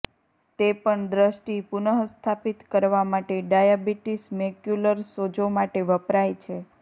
તે પણ દ્રષ્ટિ પુનઃસ્થાપિત કરવા માટે ડાયાબિટીસ મેક્યુલર સોજો માટે વપરાય છે